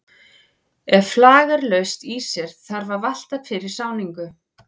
Ef flag er laust í sér þarf að valta fyrir sáningu.